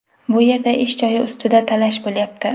Bu yerda ish joyi ustida talash bo‘lyapti.